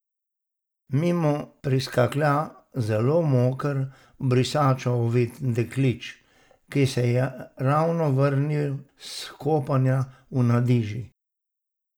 Mimo priskaklja zelo moker, v brisačo ovit deklič, ki se je ravno vrnil s kopanja v Nadiži.